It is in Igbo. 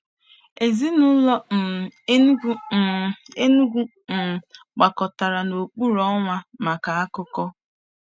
Ezinaụlọ um Enugwu um Enugwu um gbakọtara n'okpuru ọnwa maka akụkọ.